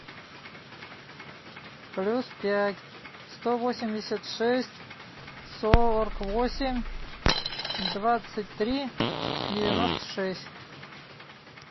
плюс пять сто восемьдесят шесть сорок восемь двадцать три девяносто шесть